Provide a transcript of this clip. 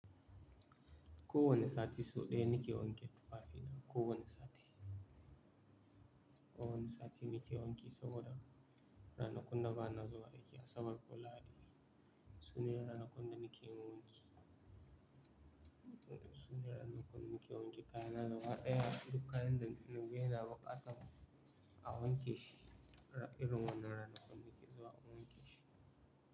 Ko wani sati sau ɗaya ni ke wanke tufafi na. Ko wani sati. Ko wani sati ni ke wanki saboda ranakun da ba na zuwa aiki asabar da lahadi. Sune ranakun da ni ke wanki. Sune ranakun ni ke wanke kayana da gabaɗaya. Duk kayan da ni ga yana buƙatan a wanke shi irin wannan ranakun ni ke zuwa a wanke shi.